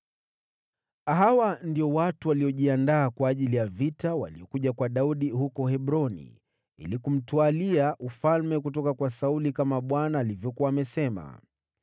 Hawa ndio watu waliojiandaa kwa ajili ya vita waliokuja kwa Daudi huko Hebroni ili kumtwalia ufalme kutoka kwa Sauli, kama Bwana alivyokuwa amesema: